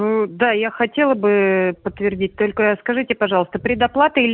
ээ да я хотела бы ээ подтвердить только скажите пожалуйста предоплата или